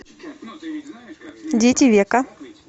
дети века